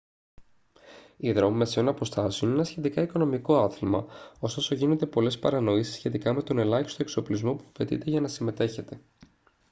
οι δρόμοι μεσαίων αποστάσεων είναι ένα σχετικά οικονομικό άθλημα ωστόσο γίνονται πολλές παρανοήσεις σχετικά με τον ελάχιστο εξοπλισμό που απαιτείται για να συμμετέχετε